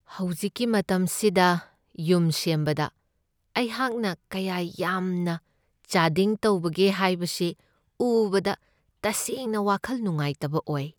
ꯍꯧꯖꯤꯛꯀꯤ ꯃꯇꯝꯁꯤꯗ ꯌꯨꯝ ꯁꯦꯝꯕꯗ ꯑꯩꯍꯥꯛꯅ ꯀꯌꯥ ꯌꯥꯝꯅ ꯆꯥꯗꯤꯡ ꯇꯧꯕꯒꯦ ꯍꯥꯏꯕꯁꯤ ꯎꯕꯗ ꯇꯁꯦꯡꯅ ꯋꯥꯈꯜ ꯅꯨꯡꯉꯥꯏꯇꯕ ꯑꯣꯏ ꯫